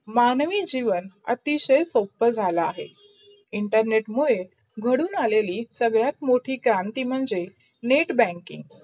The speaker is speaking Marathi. मानवी जीवन अतिशय सोप झाला अहे. internet मुडे घडून आलेली सगडात् मोठी करती म्हणजे netbanking.